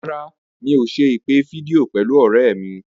Rárá, mi ò ṣe ìpè fídíò pẹ̀lú ọ̀rẹ́ mi.